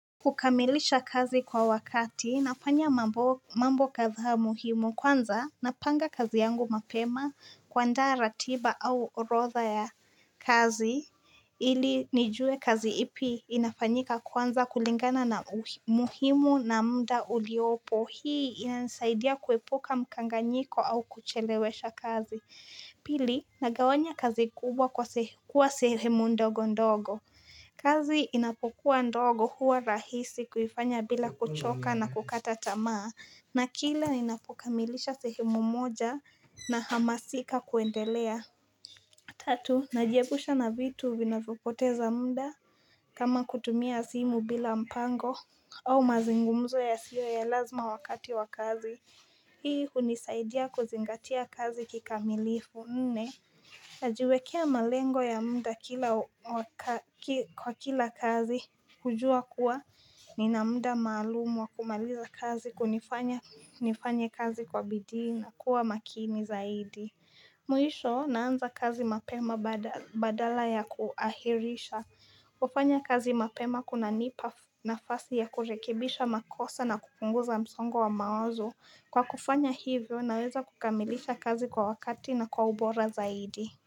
Kukamilisha kazi kwa wakati nafanya mambo kadhaa muhimu kwanza napanga kazi yangu mapema kwandaa ratiba au orodha ya kazi ili nijue kazi ipi inafanyika kwanza kulingana na muhimu na mda uliopo hii inanisaidia kuepuka mkanganyiko au kuchelewesha kazi Pili nagawanya kazi kubwa kuwa sehemu ndogo ndogo kazi inapokuwa ndogo huwa rahisi kuifanya bila kuchoka na kukata tamaa na kila inapokamilisha sehemu moja nahamasika kuendelea Tatu najiepusha na vitu vinavyopoteza muda kama kutumia simu bila mpango au mazungumzo yasiyo ya lazima wakati wa kazi Hii hunisaidia kuzingatia kazi kikamilifu Nne najiwekea malengo ya muda kwa kila kazi kujua kuwa nina muda maalumu wa kumaliza kazi kunifanya nifanye kazi kwa bidii na kuwa makini zaidi Mwisho naanza kazi mapema badala ya kuahirisha kufanya kazi mapema kunanipa nafasi ya kurekebisha makosa na kupunguza msongo wa mawazo Kwa kufanya hivyo naweza kukamilisha kazi kwa wakati na kwa ubora zaidi.